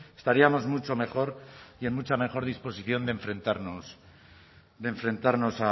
estaríamos mucho mejor y en mucha mejor disposición de enfrentarnos de enfrentarnos